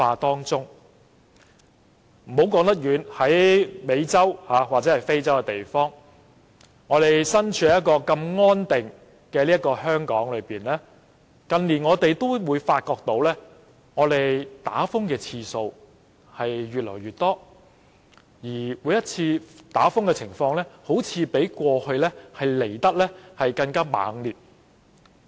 不用說到美洲或非洲那麼遠，即使身處如此安定的香港，近年我們亦發覺颱風襲港的次數越來越多，而每次的情況似乎比過去更猛烈。